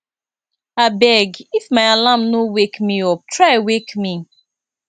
abeg if my alarm no wake me up try wake me